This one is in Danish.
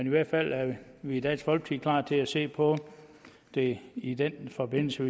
i hvert fald er vi vi i dansk folkeparti at se på det i den forbindelse